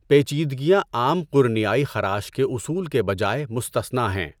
پیچیدگیاں عام قرنیائی خراش کے اصول کے بجائے مستثنیٰ ہیں۔